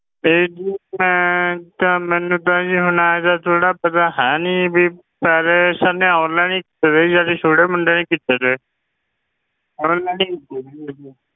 ਇਹ ਜੀ ਮੈਂ ਤਾਂ ਮੈਨੂੰ ਤਾਂ ਜੀ ਹੁਣ ਇਹਦਾ ਥੋੜ੍ਹਾ ਪਤਾ ਹੈ ਨੀ ਵੀ ਪੈਸੇ ਅਸਾਂ ਨੇ online ਹੀ ਪਤਾ ਨੀ ਸਾਡੇ ਛੋਟੇ ਮੁੰਡੇ ਨੇ ਕੀਤੇ ਸੀ